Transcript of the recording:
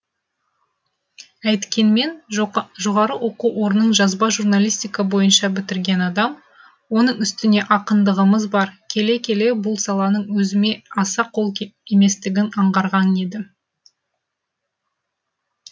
әйткенмен жоғары оқу орнын жазба журналистика бойынша бітірген адам оның үстіне ақындығымыз бар келе келе бұл саланың өзіме аса қол еместігін аңғарған едім